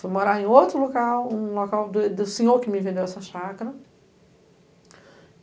Fui morar em outro local, um local do do do senhor que me vendeu essa chácara.